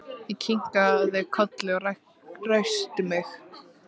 Ég kinkaði kolli og ræskti mig.